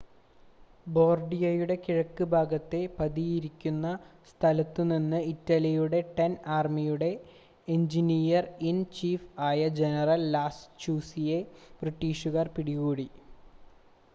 ബാർഡിയയുടെ കിഴക്ക് ഭാഗത്തെ പതിയിരിക്കുന്ന സ്ഥലത്തു നിന്ന് ഇറ്റലിയുടെ ടെൻത് ആർമിയുടെ എഞ്ചിനീയർ ഇൻ ചീഫ് ആയ ജനറൽ ലാസ്റ്റുചിയെ ബ്രിട്ടീഷുകാർ പിടികൂടി